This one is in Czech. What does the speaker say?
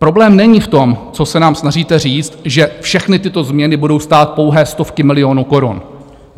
Problém není v tom, co se nám snažíte říct, že všechny tyto změny budou stát pouhé stovky milionů korun.